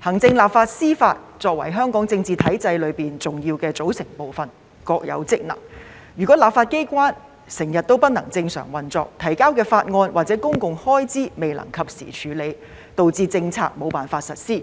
行政、立法和司法作為香港政治體制中重要的組成部分，各有職能，如果立法機關經常無法正常運作，政府提交的法案或有關公共開支的撥款申請未能及時處理，導致政策無法實施，